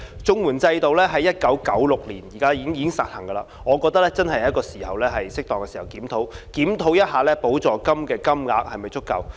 綜援制度在1996年已經實行，我覺得現在是適當時候進行檢討，檢視補助金額是否足夠。